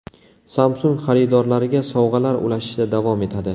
Samsung xaridorlariga sovg‘alar ulashishda davom etadi.